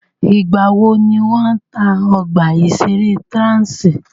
Ìgbà wò ni wọ́n tá ọgbà ìṣẹ̀rẹ́ Transi?